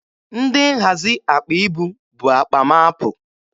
Ndị nhazi akpa ibu bu akpa m apụ.